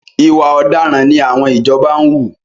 Ìwà ọ̀daràn ni àwọn ìjọba wù.